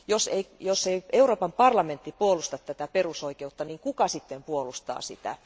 Jos Euroopan parlamentti ei puolusta tätä perusoikeutta, niin kuka sitten puolustaa sitä?